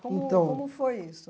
Como. Então. Como foi isso?